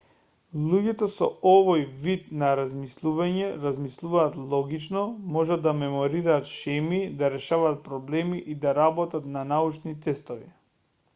луѓето со овој вид на размислување размислуваат логично можат да меморираат шеми да решаваат проблеми и да работат на научни тестови